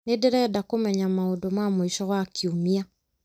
nĩ ndĩrenda kũmenya maũndũ ma mũico wa kiumia